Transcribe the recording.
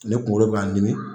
Ne kunkolo be ka n dimi